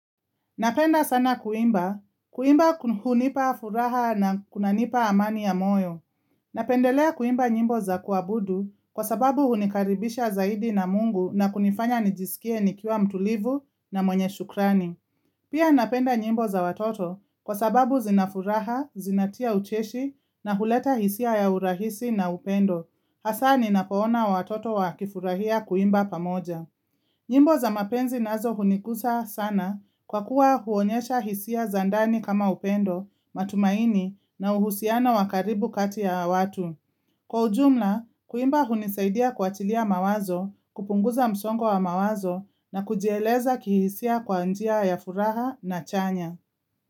Napenda sana kuimba. Kuimba hunipa furaha na kunanipa amani ya moyo. Napendelea kuimba nyimbo za kuabudu kwa sababu hunikaribisha zaidi na mungu na kunifanya nijiskie nikiwa mtulivu na mwenye shukrani. Pia napenda nyimbo za watoto kwa sababu zinafuraha, zinatia ucheshi na huleta hisia ya urahisi na upendo. Hasa ninapoona watoto wakifurahia kuimba pamoja. Nyimbo za mapenzi nazo hunigusa sana kwa kuwa huonyesha hisia za ndani kama upendo, matumaini na uhusiano wa karibu kati ya watu. Kwa ujumla, kuimba hunisaidia kuachilia mawazo, kupunguza msongo wa mawazo na kujieleza kihisia kwa njia ya furaha na chanya.